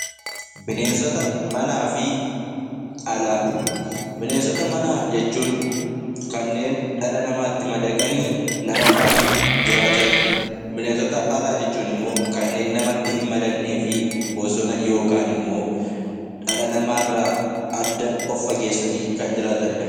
Bineensota manaa fi alaa Bineensota manaa jechuun kanneen dhala namaatti madaqanii nama faana jiraatani dha. Bineensota alaa jechuun immoo kanneen namatti hin madaqnee fi bosona yookaan immoo dhala namaa irraa adda of fageessanii kan jiraatani dha.